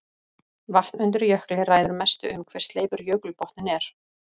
Vatn undir jökli ræður mestu um hve sleipur jökulbotninn er.